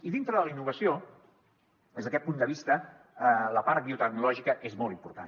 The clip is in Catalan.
i dintre de la innovació des d’aquest punt de vista la part biotecnològica és molt important